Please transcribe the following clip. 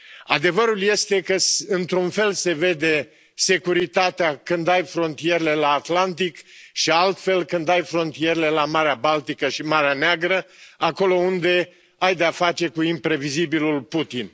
Adevărul este că într un fel se vede securitatea când ai frontierele la Atlantic și altfel când ai frontierele la Marea Baltică și Marea Neagră, acolo unde ai de a face cu imprevizibilul Putin.